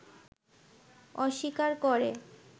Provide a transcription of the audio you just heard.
অস্বীকার করে